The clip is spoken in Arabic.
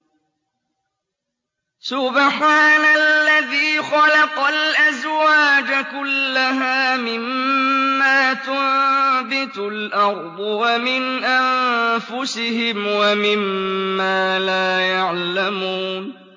سُبْحَانَ الَّذِي خَلَقَ الْأَزْوَاجَ كُلَّهَا مِمَّا تُنبِتُ الْأَرْضُ وَمِنْ أَنفُسِهِمْ وَمِمَّا لَا يَعْلَمُونَ